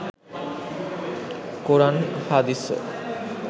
কোরান হাদিসও